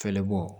Fɛɛrɛ bɔ